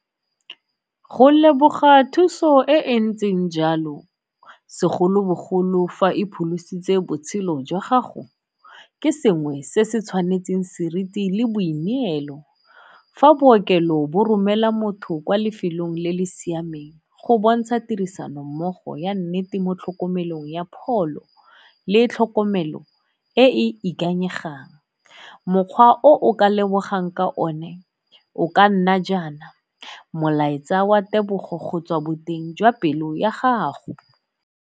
Go leboga thuso e e ntseng jalo segolobogolo fa e pholositse botshelo jwa gago ke sengwe se se tshwanetseng seriti le boineelo. Fa bookelo bo romela motho kwa lefelong le le siameng go bontsha tirisano mmogo ya nnete mo tlhokomelong ya pholo le tlhokomelo e ikanyegang. Mokgwa o o ka lebegang ka o ne o ka nna jaana molaetsa wa tebogo go tswa boteng jwa pelo ya gago.